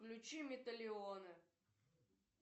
включи металионы